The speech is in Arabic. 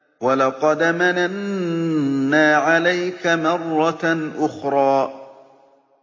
وَلَقَدْ مَنَنَّا عَلَيْكَ مَرَّةً أُخْرَىٰ